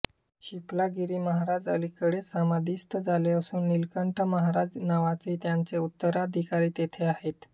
शिपलागिरी महाराज अलीकडेच समाधिस्त झाले असून निलकंठ महाराज नावाचे त्यांचे उत्तराधिकारी तेथे आहेत़